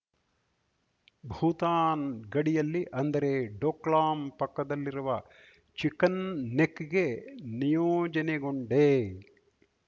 ಭೂತಾನ್‌ ಗಡಿಯಲ್ಲಿ ಅಂದರೆ ಡೋಕ್ಲಾಮ್‌ ಪಕ್ಕದಲ್ಲಿರುವ ಚಿಕನ್‌ ನೆಕ್‌ಗೆ ನಿಯೋಜನೆಗೊಂಡೆ